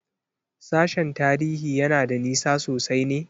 Sashen Tarihi yana da nisa sosai ne?